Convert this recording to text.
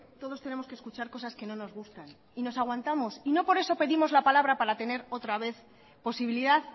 todos tenemos que escuchar cosas que no nos gustan y nos aguantamos no por eso pedimos la palabra para tener otra vez posibilidad